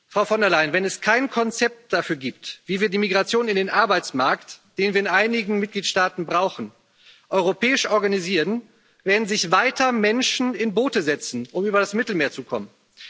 Frau von der Leyen, wenn es kein Konzept dafür gibt, wie wir die Migration in den Arbeitsmarkt, die wir in einigen Mitgliedstaaten brauchen, europäisch organisieren, werden sich weiter Menschen in Boote setzen, um über das Mittelmeer zu kommen.